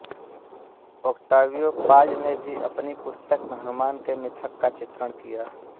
Octavio Paz ने भी अपनी पुस्तक में हनुमान के मिथक का चित्रण किया